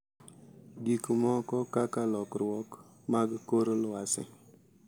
Gik moko kaka lokruok mag kor lwasi,